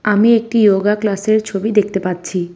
আমি একটি যোগা ক্লাসের ছবি দেখতে পাচ্ছি।